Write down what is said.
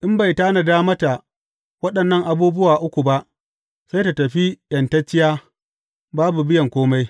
In bai tanada mata waɗannan abubuwa uku ba, sai tă tafi ’yantacciya, babu biyan kome.